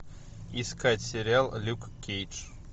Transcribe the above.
искать сериал люк кейдж